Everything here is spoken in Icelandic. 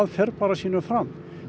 fer bara sínu fram